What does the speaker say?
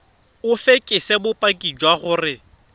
o fekese bopaki jwa gore